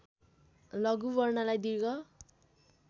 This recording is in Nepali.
लघु वर्णलाई दीर्घ